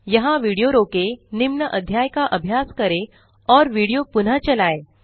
यहाँ विडियो रोकें निम्न अध्याय का अभ्यास करें और विडियो पुनः चलाएँ